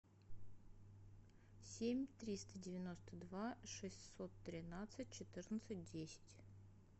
семь триста девяносто два шестьсот тринадцать четырнадцать десять